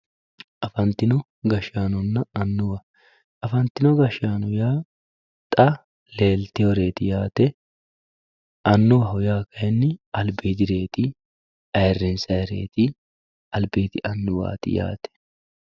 Afanitino gashanonna anuwa, afanitino gashaano yaa xa leeliteworeti yaate anuwaho uaa kayini alibidireti ayirinsayereti alibidi anuwati yaate.